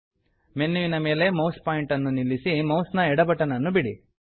ಮೆನ್ಯುವಿನ ಮೇಲೆ ಮೌಸ್ ಪಾಯಿಂಟರನ್ನು ನಿಲ್ಲಿಸಿ ಮೌಸ್ ನ ಎಡ ಬಟನ್ ನನ್ನು ಬಿಡಿ